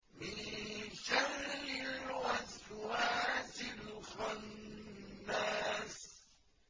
مِن شَرِّ الْوَسْوَاسِ الْخَنَّاسِ